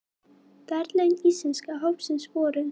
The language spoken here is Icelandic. Verðlaun Íslenska hópsins voru